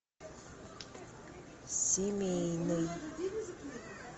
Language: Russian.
семейный